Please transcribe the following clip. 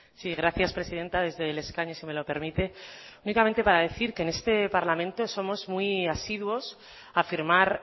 sí gracias presidenta desde el escaño si me lo permite únicamente para decir que en este parlamento somos muy asiduos a firmar